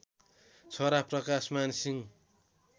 छोरा प्रकाशमान सिंह